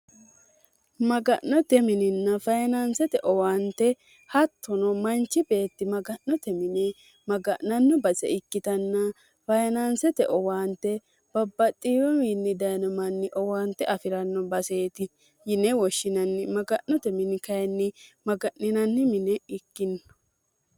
maga'note mininna fayinaansete owaante hattono manchi beetti maga'note mine maga'nanno base ikkitanna fayinaansete owaante babbaxxiiwomiinni dayinomanni owaante afi'ranno baseeti yine woshshinanni maga'note mini kayinni maga'ninanni mine ikkinno